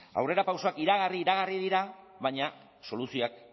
aurrerapausoak iragarri iragarri dira baina soluzioak